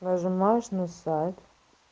нажимаешь на сайт